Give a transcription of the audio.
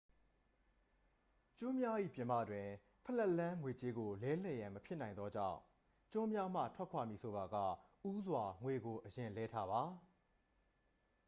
ကျွန်းများ၏ပြင်ပတွင် ဖလက်လန်း ငွေကြေးကို လဲလှယ်ရန်မဖြစ်နိုင်သလောက်သောကြောင့် ကျွန်းများမှထွက်ခွာမည်ဆိုပါက ဦးစွာ ငွေကိုအရင်လဲထားပါ